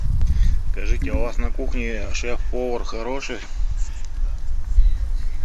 скажите а у вас на кухне шеф повар хороший